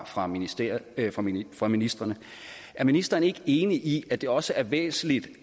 fra ministrene fra ministrene er ministeren ikke enig i at det også er væsentligt